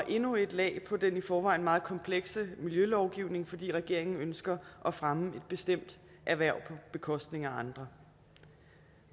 endnu et lag på den i forvejen meget komplekse miljølovgivning fordi regeringen ønsker at fremme et bestemt erhverv på bekostning af andre